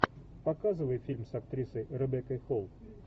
показывай фильм с актрисой ребеккой холл